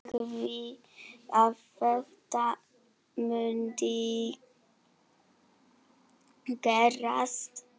Sagði að þetta mundi gerast.